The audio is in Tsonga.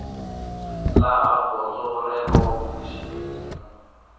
laha gondzo rero kumbe xiphemu